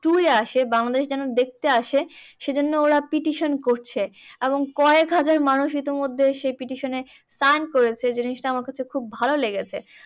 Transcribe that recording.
Tour এ আসে বাংলাদেশে যেন দেখতে আসে সেইজন্য ওরা petition করছে এবং কয়েকহাজার মানুষ ইতিমধ্যে সেই petition এ turn করেছে জিনিসটা আমার কাছে খুব ভাল লেগেছে।